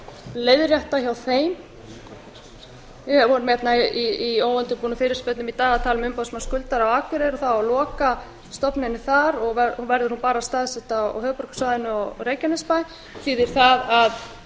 leiðrétta hjá þeim við vorum hérna í óundirbúnum fyrirspurnum í dag að tala um umboðsmann skuldara á akureyri og það á að loka stofnuninni þar þá verður hún bara staðsett á höfuðborgarsvæðinu og í reykjanesbæ þýðir það að